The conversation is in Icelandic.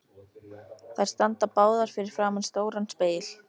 Þær standa báðar fyrir framan stóran spegil.